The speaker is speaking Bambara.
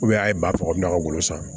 a ye bakurunba don a bolo san